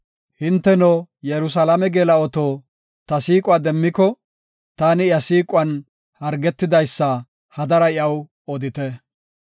Hinteno, Yerusalaame geela7oto, ta siiquwa demmiko, taani iya siiquwan hargidaysa, hadara iyaw odite.